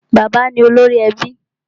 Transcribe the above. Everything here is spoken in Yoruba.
Bàbá ni olórí ẹbí.